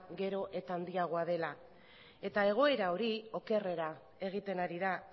gero eta handiagoa dela eta egoera hori okerrera egiten ari da